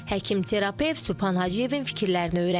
Həkim terapevt Sübhan Hacıyevin fikirlərini öyrəndik.